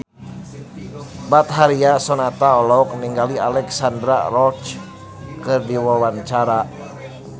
Betharia Sonata olohok ningali Alexandra Roach keur diwawancara